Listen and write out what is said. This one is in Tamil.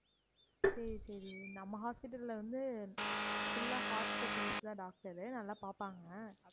சரி, சரி நம்ம hospital அ வந்து full ஆ heart specialist தான் doctor உ, நல்லா பார்ப்பாங்க.